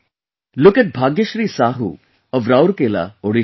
Look at Bhagyashree Sahu of Rourkela, Odisha